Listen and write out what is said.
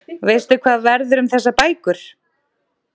Veistu hvað verður um þessar bækur?